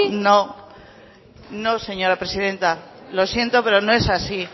sí no señora presidenta lo siento pero no es así